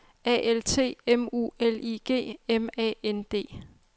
A L T M U L I G M A N D